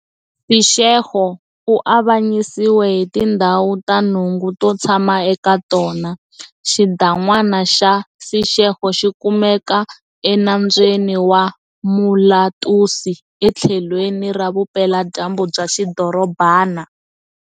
Seshego u avanyisiwe hi tindhawu ta nhungu to tshama eka tona. Xidan'wana xa Seshego xikumeka eNambyeni wa Molatusi etlhelweni ra vupela-dyambu bya xidorobana.